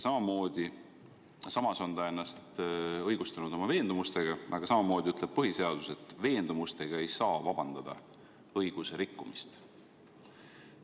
Samas on ta ennast õigustanud oma veendumustega, aga põhiseadus ütleb, et veendumustega ei saa vabandada õigusrikkumist.